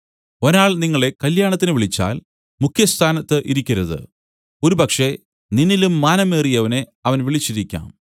ഒരാൾ നിങ്ങളെ കല്യാണത്തിന് വിളിച്ചാൽ മുഖ്യ സ്ഥാനത്ത് ഇരിക്കരുത് ഒരുപക്ഷേ നിന്നിലും മാനമേറിയവനെ അവൻ വിളിച്ചിരിക്കാം